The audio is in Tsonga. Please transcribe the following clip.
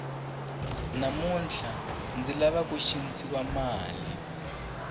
namuntlha ndzi lava ku cincisa mali